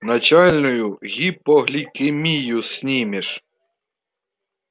начальную гипогликемию снимешь